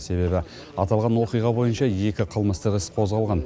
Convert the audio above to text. себебі аталған оқиға бойынша екі қылмыстық іс қозғалған